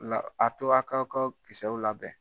La a tora a k'aw k'a ka kisɛw labɛn.